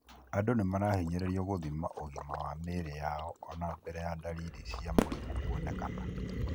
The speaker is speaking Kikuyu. Andũ nĩmarahinyĩrĩrio gũthima ũgima wa mĩĩrĩ yao mbere ona ya dalili cia mũrimu kuoneana.